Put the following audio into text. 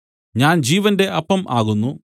ഞാൻ ജീവന്റെ അപ്പം ആകുന്നു